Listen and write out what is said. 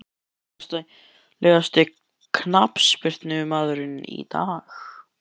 Hver er efnilegasti knattspyrnumaðurinn í dag?